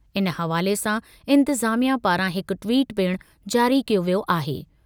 इन हवाले सां इंतिज़ामिया पारां हिक ट्वीट पिणु जारी कयो वियो आहे।